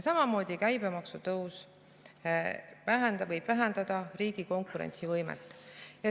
Samamoodi võib käibemaksu tõus vähendada riigi konkurentsivõimet.